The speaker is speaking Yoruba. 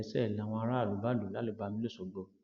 ọlọpàá kan olókàdá léṣe làwọn aráàlú bá lù ú lálùbami lọsgbọ